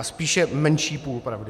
A spíše menší půl pravdy.